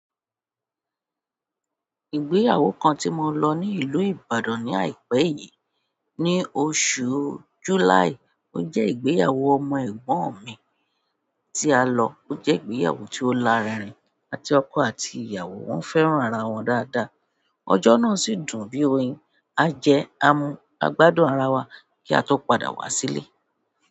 Ìgbéyàwó kan ti mo lọ ní ìlú Ìbàdàn ní àìpẹ́ yìí, ní oṣù July, ó jẹ́ ìgbéyàwó ọmọ ẹ̀gbọ́n mi tí a lọ. Ó jẹ́ ìgbéyàwó tí ó lárinrin àti ọkọ àti ìyàwó wọ́n fẹ́ràn ara wọn dáadáa. Ọjọ́ náà sì dùn bí oyin. A jẹ a mu, a gbádùn ara wa kí a tó padà wá sílé.